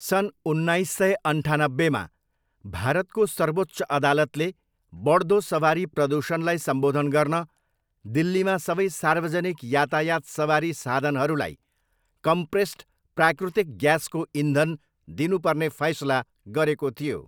सन् उन्नाइस सय अन्ठानब्बेमा, भारतको सर्वोच्च अदालतले बढ्दो सवारी प्रदूषणलाई सम्बोधन गर्न दिल्लीमा सबै सार्वजनिक यातायात सवारी साधनहरूलाई कम्प्रेस्ड प्राकृतिक ग्यासको इन्धन दिनु पर्ने फैसला गरेको थियो।